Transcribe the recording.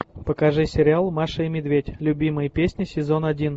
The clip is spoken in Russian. покажи сериал маша и медведь любимые песни сезон один